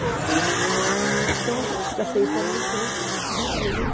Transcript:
Então, a gente fica sem informação, fica burro, né?